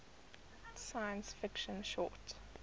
science fiction short